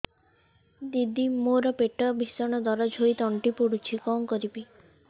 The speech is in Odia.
ଦିଦି ମୋର ପେଟ ଭୀଷଣ ଦରଜ ହୋଇ ତଣ୍ଟି ପୋଡୁଛି କଣ କରିବି